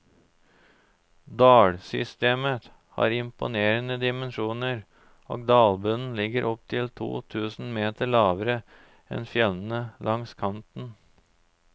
Dalsystemet har imponerende dimensjoner, og dalbunnen ligger opptil to tusen meter lavere enn fjellene langs kanten.